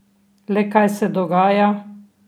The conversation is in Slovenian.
Le kaj se dogaja?